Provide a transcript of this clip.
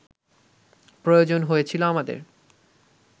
প্রয়োজন হয়েছিল আমাদের